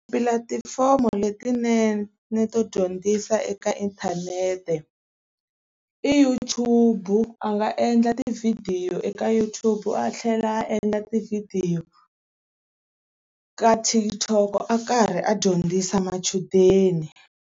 Tipulatifomo letinene ni to dyondzisa eka inthanete i YouTube-u. A nga endla tivhidiyo eka YouTube a tlhela a endla tivhidiyo ka TikTok a karhi a dyondzisa machudeni.